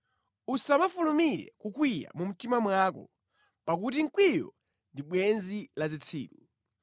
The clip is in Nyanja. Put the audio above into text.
Usamafulumire kukwiya mu mtima mwako, pakuti mkwiyo ndi bwenzi la zitsiru.